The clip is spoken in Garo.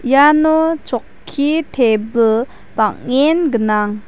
iano chokki tebil bang·en gnang.